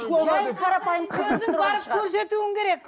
көрсетуің керек